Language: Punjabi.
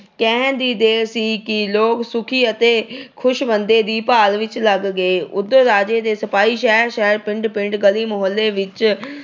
ਕਹਿਣ ਦੀ ਦੇਰ ਸੀ ਕਿ ਲੋਕ ਸੁਖੀ ਅਤੇ ਖੁਸ਼ ਬੰਦੇ ਦੀ ਭਾਲ ਵਿੱਚ ਲੱਗ ਗਏ। ਉਧਰ ਰਾਜੇ ਦੇ ਸਿਪਾਹੀ ਸ਼ਹਿਰ-ਸ਼ਹਿਰ, ਪਿੰਡ-ਪਿੰਡ, ਗਲੀ, ਮੁਹੱਲੇ ਵਿੱਚ